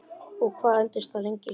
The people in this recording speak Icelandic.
Og hvað entist það lengi?